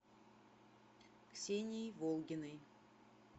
ксенией волгиной